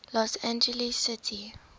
los angeles city